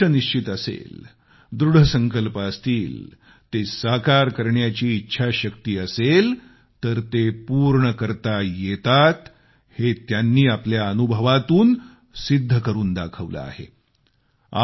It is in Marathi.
जेव्हा उद्दिष्ट निश्चित असेल दृढ संकल्प असतील ते साकार करण्याची इच्छाशक्ती असेल तर ते पूर्ण करता येतात हे त्यांनी आपल्या अनुभवातून सिद्ध करून दाखवलं आहे